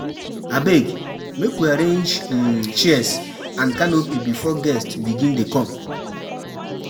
Abeg, make we arrange um chairs and canopy before guests begin dey come.